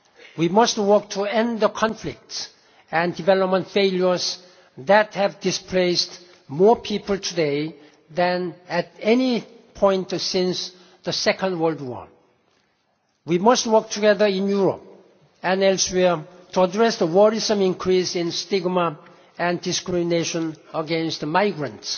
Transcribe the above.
We must work to end the conflicts and development failures that have displaced more people today than at any point since the Second World War. We must work together in Europe and elsewhere to address the worrisome increase in stigma and discrimination against migrants.